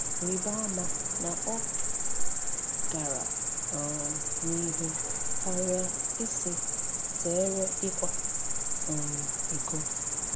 Rịba ama na ọ gara um n’ihu karịa ịsị, “Zere ịkwa um iko.”